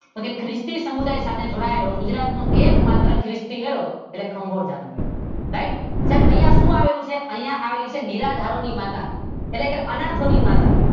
તો કે ખ્રિસ્તી સમુદાય સાથે જોડાયેલ ગુજરાત નો એક માત્ર ખ્રિસ્તી મેળો એટલે ખાંભોજા નો મેળો. રાઇટ સાહેબ? અહિયાં શું આવેલુ છે? અહિયાં આવેલી છે નિરા ખોરા ની માતા એટલે અનાથોની માતા